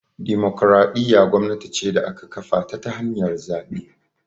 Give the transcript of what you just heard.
Dimokuraɗiyya gwamnati ce da aka kafata ta hanyar zaɓe